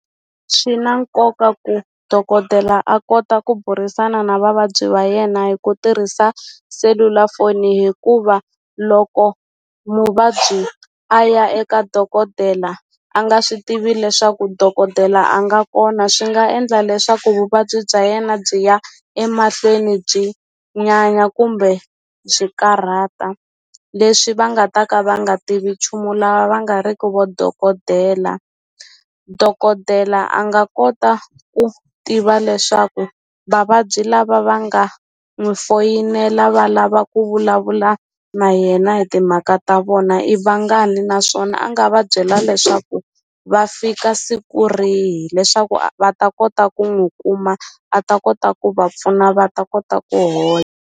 Swi na nkoka ku dokodela a kota ku burisana na vavabyi va yena hi ku tirhisa selulafoni hikuva loko muvabyi a ya eka dokodela a nga swi tivi leswaku dokodela a nga kona swi nga endla leswaku vuvabyi bya yena byi ya emahlweni byi nyanya kumbe byi karhata leswi va nga ta ka va nga tivi nchumu lava va nga riki vo dokodela dokodela a nga kota ku tiva leswaku vavabyi lava va nga n'wi foyinela va lava ku vulavula na yena hi timhaka ta vona i vangani naswona a nga va byela leswaku va fika siku rihi leswaku va ta kota ku n'wu kuma a ta kota ku va pfuna va ta kota ku hola.